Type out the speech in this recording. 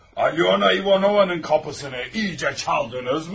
Alyona İvanovanın qapısını iyicə çaldınızmı?